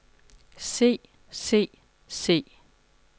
se se se